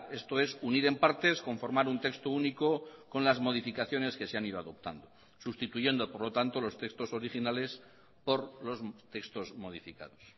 esto es unir en partes conformar un texto único con las modificaciones que se han ido adoptando sustituyendo por lo tanto los textos originales por los textos modificados